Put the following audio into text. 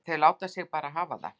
Þau láta sig bara hafa það.